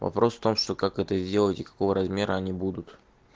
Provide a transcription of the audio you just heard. вопрос в том что как это сделать и какого размера они будут